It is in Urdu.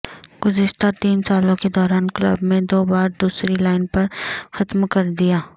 گزشتہ تین سالوں کے دوران کلب میں دو بار دوسری لائن پر ختم کر دیا